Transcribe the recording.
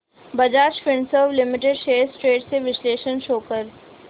Bajaj Finserv limited shares trends चे विश्लेषण show कर